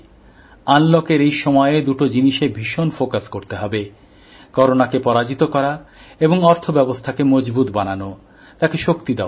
আনলকএর এই সময়ে দুটো জিনিসে ভীষণ খেয়াল করে চলতে হবে করোনাকে পরাজিত করা এবং আর্থিকব্যবস্থাকে মজবুত বানানো তাকে শক্তিশালী করা